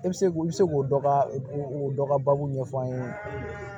E bɛ se k'u bɛ se k'o dɔ ka o dɔ ka baabu ɲɛfɔ an ye